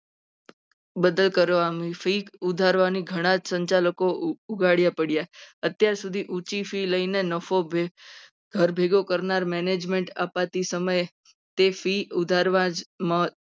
બદલ કરવાની ફી ઉતારવાની ઘણા સંચાલકો ઉઘાડા પડ્યા. અત્યારે ઊંચી fee લઈને નફો ઘર ભેગો કરનાર management અપાતી સમયે તેથી fee વધારવા જ